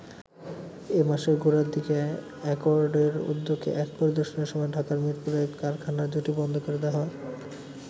এ মাসের গোড়ার দিকে অ্যাকর্ডের উদ্যোগে এক পরিদর্শনের সময় ঢাকার মীরপুরে কারখানা দুটি বন্ধ করে দেয়া হয়।